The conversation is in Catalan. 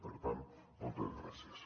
per tant moltes gràcies